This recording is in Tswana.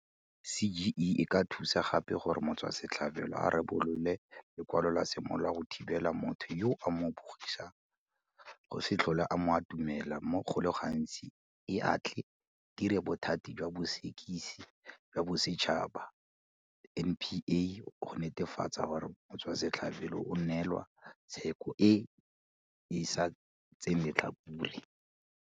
CGE e ka thusa gape gore motswasetlhabelo a rebole lwe lekwalo la semolao la go thibela motho yo a mo bogisang go se tlhole a mo atumela mme go le gantsi e a tle e direle Bothati jwa Bosekisi jwa Bosetšhaba, NPA, go netefatsa gore motswasetlhabelo o neelwa tsheko e e sa tseeng letlhakore.